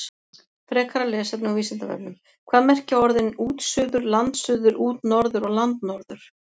Frekara lesefni á Vísindavefnum: Hvað merkja orðin útsuður, landsuður, útnorður og landnorður?